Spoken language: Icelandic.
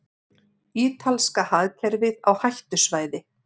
Ítalska hagkerfið á hættusvæði